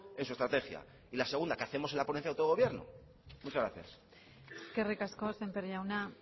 en su estrategia y la segunda qué hacemos en la ponencia de autogobierno muchas gracias eskerrik asko sémper jauna